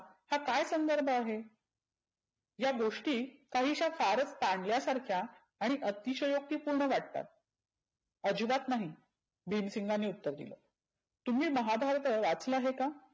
हा काय संदर्भ आहे? या गोष्टी काहिश्या फारच तानल्या सारख्या आणि अतिषयोक्ती पुर्ण वाटतात. आजिबत नाही, भिमसिंगांनी उत्तर दिलं. तुम्ही महाभारत वाचला आहे का?